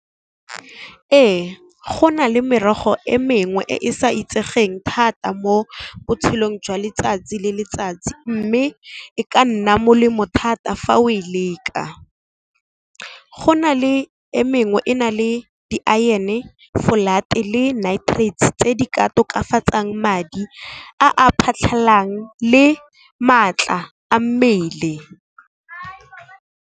Ee go na le merogo e mengwe e e sa itsegeng thata mo botshelong jwa letsatsi le letsatsi mme, e ka nna molemo thata fa o e leka. Go na le e mengwe e na le di-iron-e, flat le nitrates tse di ka tokafatsang madi a a phatlhalang le maatla a mmele.